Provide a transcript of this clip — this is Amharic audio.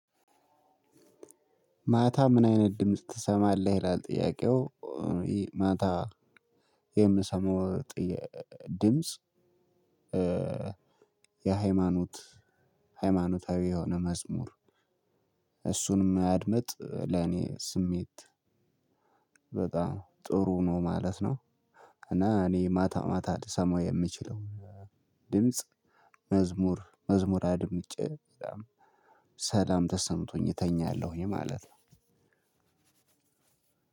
ማታ ምን አይነት ድምጽ ትሰማለህ? ይላል ጥያቄው ማታ የምሰማው ድምጽ። የሃይማኖት ሃይማኖታዊ የሆነ መዝሙር እሱንም ማድመጥ ለኔ ስሜት በጣም ጥሩ ነው ማለት ነው። እና እኔ ማታ ማታ ልሰማው የምችለው ድምጽ መዝሙር መዝሙር አድምጬ ሰላም ተሰምቶኝ እተኛለሁኝ ማለት ነው።